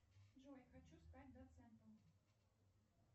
джой хочу стать доцентом